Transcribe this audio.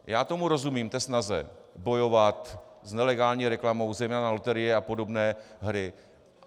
Já tomu rozumím, té snaze bojovat s nelegální reklamou, zejména na loterie a podobné hry.